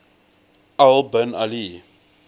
al bin ali